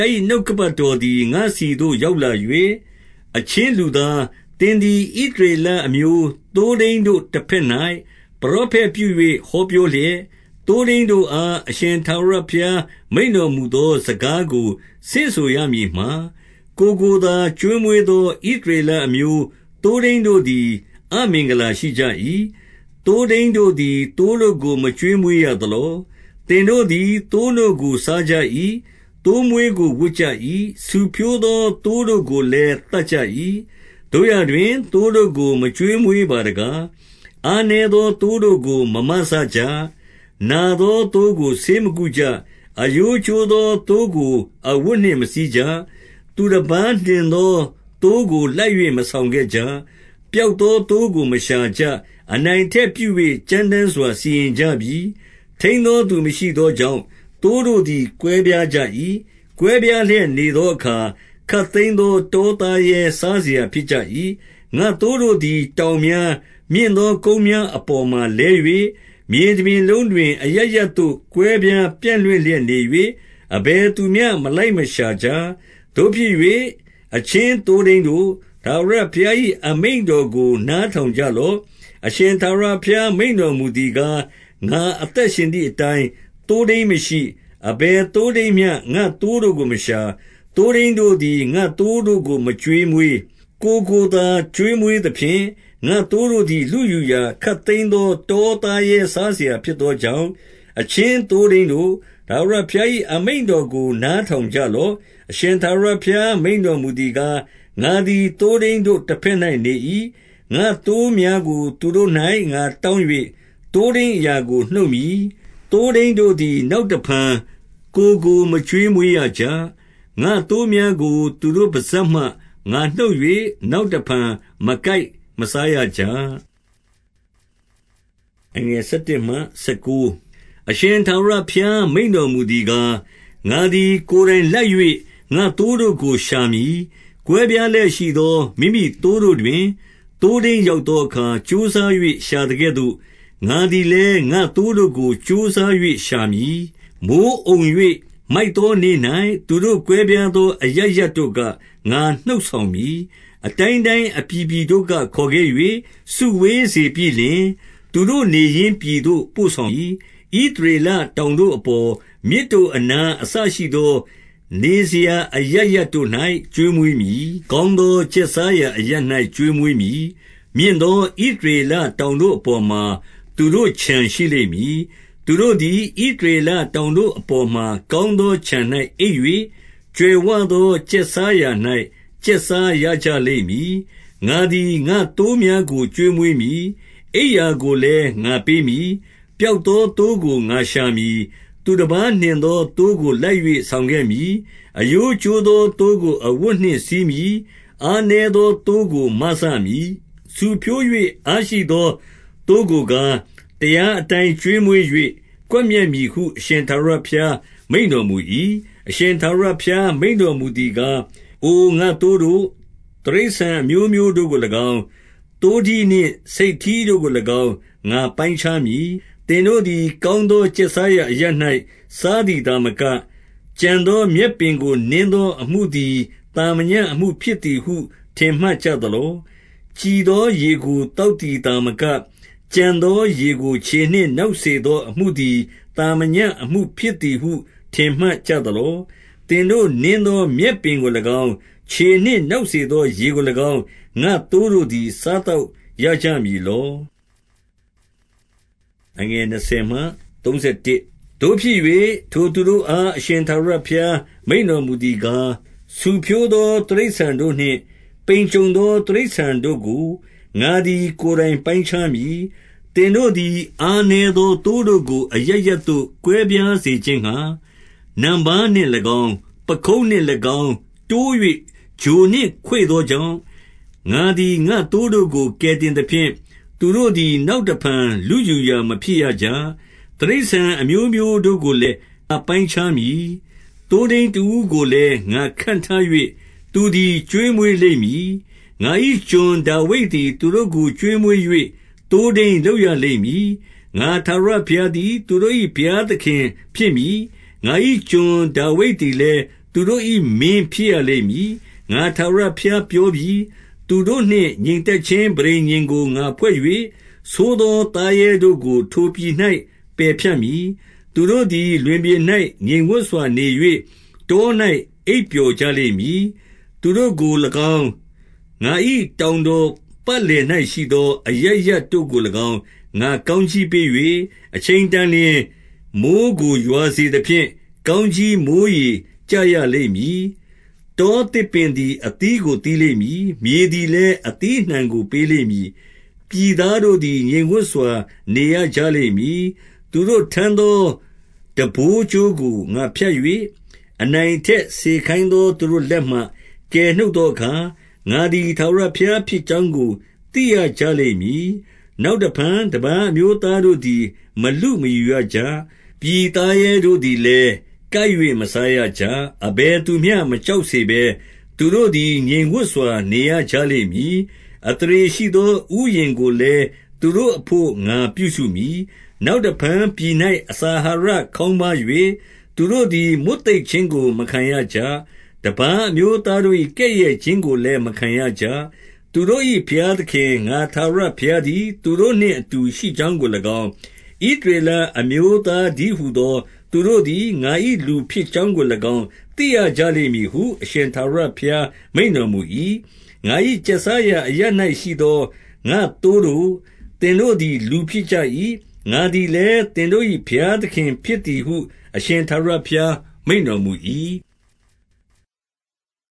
ား၏ နှုတ်ကပတ်တော်သည် ငါ့ဆီသို့ရောက်လာ၍၊ 2 အချင်းလူသား၊ သင်သည် ဣသရေလအမျိုး သိုးထိန်းတို့တဘက်၌ ပရောဖက်ပြု၍ ဟောပြောလျက်၊ သိုးထိန်းတို့အား အရှင်ထာဝရဘုရား မိန့်တော်မူသော စကားကိုဆင့်ဆိုရမည်မှာ၊ ကိုယ်ကိုသာ ကျွေးမွေးသော ဣသရေလအမျိုး သိုးထိန်းတို့သည် အမင်္ဂလာရှိကြ၏။ သိုထိန်းသည် သိုးတို့ကိုမကျွေးမွေးရသလော။ 3 သင်တို့သည် သိုးနို့ကို စားကြ၏။ သိုးမွေးကို ဝတ်ကြ၏။ ဆူဖြိုးသော သိုးတို့ကိုလည်း သတ်ကြ၏။ သို့ရာတွင်၊ သိုးတို့ကို မကျွေးမွေးပါတကား။ 4 အားနည်းသောသိုးကိုမ မစကြ၊ နာသော သိုးတို့ကိုဆေးမကုကြ၊ အရိုးကျိုးသောသိုးကို အဝတ်နှင့် မစည်းကြ၊ သူတပါးနှင့်သော သိုးကိုလိုက် ၍မဆောင်ခဲ့ ကြ၊ ပျောက်သောသိုးကို မရှာကြ၊ အနိုင်အထက်ပြု၍ ကြမ်းတမ်းစွာ စီရင်ကြပြီ။ 5 ထိန်းသောသူမရှိသောကြောင့် သိုးတို့သည် ကွဲပြားကြ၏။ ကွဲပြားလျက်နေသောအခါ ခပ်သိမ်းသော တောသားရဲစားစရာဖြစ်ကြ၏။ 6 ငါ့သိုးတို့သည် တောင်များ၊ မြင့်သောကုန်းများ အပေါ်မှာလဲ၍ မြေတပြင်လုံတွင် အရပ်ရပ်သို့ ကွဲပြား ပြန့်လွင့်လျက်နေ၍၊ အဘယ်သူမျှ မလိုက်ရှာကြ။ 7 သို့ဖြစ်၍၊ အချင်းသိုးထိန်းတို့၊ ထာဝရဘုရား၏ အမိန့်တော်ကို နားထောင်ကြလော့။ 8 အရှင်ထာဝရဘုရား မိန့်တော်မူသည်ကား၊ ငါ အသက်ရှင်သည်အတိုင်း၊ သိုးထိန်းမရှိ၊ အဘယ်သိုးထိန်း မျှ ငါ့သိုးတို့ကိုမရှာ၊ သိုးထိန်းတို့သည် ငါ့သိုးတို့ကို မကျွေးမွေး၊ ကိုယ်ကိုသာကျွေးမွေးသဖြင့်၊ ငါ့သိုးတို့သည် လုယူရာ၊ခပ်သိမ်းသောတောသားရဲစားစရာဖြစ်သောကြောင့်၊ 9 အချင်း သိုးထိန်းတို့၊ ထာဝရဘုရား၏ အမိန့်တော်ကိုနားထောင်ကြလော့။ 10 အရှင်ထာဝရဘုရား မိန့်တော်မူသည်ကား၊ ငါသည်သိုးထိန်းတို့ တလက်၌နေ၏။ ငါ့သိုးများကို သူတို့၌ငါတောင်း၍ သိုးထိန်းအရာကို နှုတ်မည်။ သိုးထိန်း တို့သည် နောက်တဖန်ကိုယ်ကို မကျွေးမွေးရကြ။ ငါ့သိုးများကို သူတို့ပစပ်မှ ငါနှုတ်၍ နောက်တဖန် မကိုက် မစားရကြ။ 11 အရှင်ထာဝရဘုရားမိန့်တော်မူသည်ကား၊ ငါသည် ကိုယ်တိုင်လိုက်၍ ငါ့သိုးတို့ကိုရှာမည်။ 12 ကွဲပြားလျက်ရှိသော မိမိသိုးတို့တွင် သိုးထိန်း ရောက်သောအခါ ကြိုးစား၍ ရှာသကဲ့သို့၊ ငါသည်လည်း ငါ့သိုးတို့ကိုကြိုးစား၍ ရှာမည်။ မိုဃ်းအုံ၍မိုက်သော နေ့၌ သူတို့ကွဲပြားသော အရပ်ရပ်တို့က ငါနှုတ်ဆောင် မည်။ 13 အတိုင်းတိုင်းအပြည်ပြည်တို့က ခေါ်ခဲ့၍ စုဝေး စေပြီးလျှင်၊ သူတို့ နေရင်းပြည်သို့ ပို့ဆောင်မည်။ ဣသ ရေလတောင်တို့အပေါ်၊ မြစ်တို့အနား အစရှိသော နေစရာ အရပ်ရပ်တို့၌ ကျွေးမွေးမည်။ 14 ကောင်းသောကျက်စားရာအရပ်၌ ကျွေးမွေး မည်။ မြင့်သော ဣသရေလတောင်တို့အပေါ်မှာ သူတို့ ခြံရှိလိမ့်မည်။ သူတို့သည်ဣသရေလတောင်တို့အပေါ်မှာ ကောင်းသောခြံ၌အိပ်၍၊ ကြွယ်ဝသောကျက်စားရာ၌ ကျက်စားကြလိမ့်မည်။ 15 ငါသည် ငါ့သိုးများကို ကျွေးမွေးမည်။ အိပ်ရာ ကိုလည်း ငါပေးမည်။ 16 ပျောက်သောသိုးကို ငါရှာမည်။ သူတပါးနှင် သော သိုးကိုလိုက်၍ ဆောင်ခဲ့မည်။ အရိုးကျိုးသော သိုးကိုအဝတ်နှင့်စည်းမည်။ အားနည်းသော သိုးကိုမစ မည်။ ဆူဖြိုး၍အားရှိသောသိုးကိုကား၊ တရားအတိုင်း ကျွေးမွေး၍ ကွပ်မျက်မည်ဟု အရှင်ထာဝရဘုရား မိန့်တော်မူ၏။ 17 အရှင်ထာဝရဘုရား မိန့်တော်မူသည်ကား၊ အိုငါ့သိုးတို့၊ တိရစ္ဆာန်အမျိုးမျိုးတို့ကို၎င်း၊ သိုးထီးနှင့် ဆိတ်ထီးတို့ကို၎င်း ငါပိုင်းခြားမည်။ 18 သင်တို့သည် ကောင်းသောကျက်စားရာအရပ်၌ စားသည်သာမက၊ ကျန်သော မြက်ပင်ကိုနင်းသော အမှုသည်သာမညအမှုဖြစ်သည်ဟု ထင်မှတ်ကြသလော။ ကြည်သော ရေကို သောက်သည်သာမက၊ ကျန်သော ရေကိုခြေနှင့် နောက်စေသောအမှုသည် သာမညအမှုဖြစ် သည်ဟု ထင်မှတ်ကြသလော။ 19 သင်တို့နင်းသောမြက်ပင်ကို၎င်း၊ ခြေနှင့်နောက် စေသော ရေကို၎င်း၊ ငါ့သိုးတို့သည် စားသောက်ရကြ မည်လော။ 20 သို့ဖြစ်၍၊ ထိုသူတို့အား အရှင်ထာဝရဘုရား မိန့်တော်မူသည်ကား၊ ဆူဖြိုးသော တိရစ္ဆာန်တို့နှင့် ပိန်ကြုံ သောတိရစ္ဆာန်တို့ကို ငါသည် ကိုယ်တိုင်ပိုင်းခြားမည်။ 21 သင်တို့သည် အားနည်းသောသိုးတို့ကို အရပ်ရပ် သို့ ကွဲပြားစေခြင်းငှါ နံပါးနှင့်၎င်း၊ ပခုံးနှင့်၎င်း တိုး၍ ချိုနှင့်ခွေ့သောကြောင့်၊ 22 ငါသည် ငါ့သိုးတို့ကို ကယ်တင်သဖြင့်၊ သူတို့ သည် နောက်တဖန် လုယူရာမဖြစ်ရကြ။ တိရစ္ဆာန် အမျိုးမျိုးတို့ကိုလည်း ငါပိုင်းခြားမည်။ 23 သိုးထိန်းတဦးကိုလည်း ငါခန့်ထား၍ သူသည် ကျွေးမွေးလိမ့်မည်။ ငါ၏ကျွန်ဒါဝိဒ်သည် သူတို့ကို ကျွေးမွေး၍ သိုးထိန်းလုပ်ရလိမ့်မည်။ 24 ငါထာဝရဘုရားသည် သူတို့၏ဘုရားသခင် ဖြစ်မည်။ ငါ၏ကျွန်ဒါဝိဒ်သည်လည်း သူတို့၏မင်းဖြစ်ရ လိမ့်မည်။ ငါထာဝရဘုရားပြောပြီ။ 25 သူတို့နှင့်ငြိမ်သက်ခြင်း ပဋိညာဉ်ကို ငါဖွဲ့၍၊ ဆိုးသောသားရဲတို့ကို ထိုပြည်၌ပယ်ဖြတ်မည်။ သူတို့သည် လွင်ပြင်၌ ငြိမ်ဝပ်စွာနေ၍ တော၌အိပ်ပျော်ကြလိမ့်မည်။ 26 သူတို့ကို၎င်း၊ ငါ၏တောင်တော်ပတ်လည်၌ ရှိသော အရပ်တို့ကို၎င်း ငါကောင်းကြီးပေး၍၊ အချိန်တန် လျှင် မိုဃ်းကိုရွာစေသဖြင့်၊ ကောင်းကြီးမိုးရေ ကျရ လိမ့်မည်။ 27 တောသစ်ပင်သည် အသီးကို သီးလိမ့်မည်။ မြေသည်လည်း အသီးအနှံကိုပေးလိမ့်မည်။ ပြည်သား တို့သည် ငြိမ်ဝပ်စွာနေရကြလိမ့်မည်။ သူတို့ထမ်းသော ထမ်းပိုးကြိုးကို ငါဖြတ်၍၊ အနိုင်အထက်စေခိုင်သောသူတို့ လက်မှကယ်နှုတ်သောအခါ၊ ငါသည်ထာဝရဘုရား ဖြစ်ကြောင်းကို သိရကြလိမ့်မည်။ 28 နောက်တဖန်တပါး အမျိုးသားတို့သည် မလု မယူရကြ။ ပြည်သားရဲတို့သည်လည်း ကိုက်၍မစားရကြ။ အဘယ်သူမျှမကြောက်စေဘဲ၊ သူတို့သည် ငြိမ်ဝပ်စွာ နေရကြလိမ့်မည်။ 29 အသရေရှိသော ဥယျာဉ်ကိုလည်း သူတို့အဘို့ ငါပြုစုမည်။ နောက်တဖန်ပြည်၌ အစာအဟာရ ခေါင်း ပါး၍၊ သူတို့သည်မွတ်သိပ်ခြင်းကို မခံရကြ။ တပါး အမျိုးသားတို့၏ကဲ့ရဲ့ခြင်းကိုလည်း မခံရကြ။ 30 သူတို့၏ဘုရားသခင် ငါထာဝရဘုရားသည် သူတို့နှင့်အတူရှိကြောင်းကို၎င်း၊ ဣသရေလအမျိုးသား တည်းဟူသောသူတို့သည် ငါ၏လူဖြစ်ကြောင်းကို၎င်း သိရကြလိမ့်မည်ဟု အရှင်ထာဝရဘုရား မိန့်တော်မူ၏။ 31 ငါ၏ကျက်စားရာအရပ်၌ရှိသော ငါ့သိုးတို့၊ သင်တို့သည်လူဖြစ်ကြ၏။ ငါသည်လည်း သင်တို့၏ ဘုရား သခင်ဖြစ်သည်ဟု အရှင်ထာဝရဘုရားမိန့်တော်မူ၏။